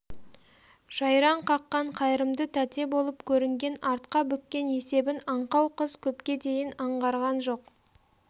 жайраң қаққан қайырымды тәте болып көрінген артқа бүккен есебін аңқау қыз көпке дейін аңғарған жоқ